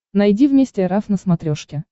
найди вместе эр эф на смотрешке